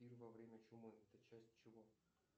пир во время чумы это часть чего